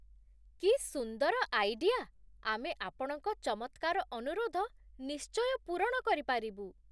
କି ସୁନ୍ଦର ଆଇଡିଆ! ଆମେ ଆପଣଙ୍କ ଚମତ୍କାର ଅନୁରୋଧ ନିଶ୍ଚୟ ପୂରଣ କରିପାରିବୁ।